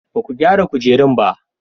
Ba ku gyara kujerun ba?